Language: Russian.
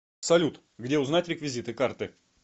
салют где узнать реквизиты карты